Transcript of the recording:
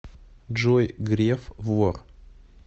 джой греф вор